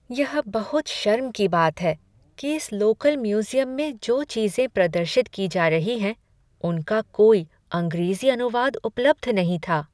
यह बहुत शर्म की बात है कि इस लोकल म्यूजियम में जो चीज़ें प्रदर्शित की जा रही हैं उनका कोई अंग्रेजी अनुवाद उपलब्ध नहीं था।